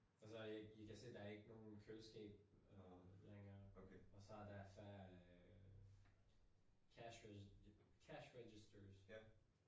Altså jeg jeg kan se der ikke nogen køleskab øh længere og så der færre øh cash cash registrers